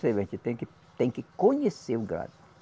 A gente tem que, tem que conhecer o gado.